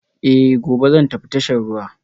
Eh, gobe zan tafi tashar ruwa